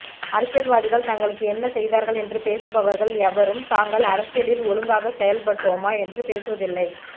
அரசியல்வாதிகள் தங்களுக்கு என்ன செய்தார்கள் என்று பேசுபவர்கள் எவரும் தாங்கள் அரசியலில் ஒழுங்காக செயல்பட்டோமா என்று பேசுவதில்லை